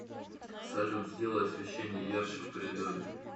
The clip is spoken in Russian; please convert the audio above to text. салют сделай освещение ярче в коридоре